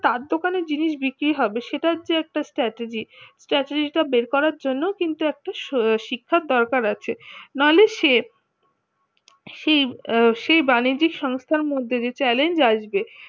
তার দোকানে জিনিস বিক্রি হবে সেটার যে একটা strategy strategy টা বের করার জন্য কিন্তু একটা শিক্ষার দরকার আছে মানুষের সে সেই বাণিজ্যিক সংস্থার মধ্যে দিয়ে challenge লাগবে